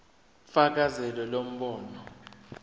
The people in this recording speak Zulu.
fakazela lo mbono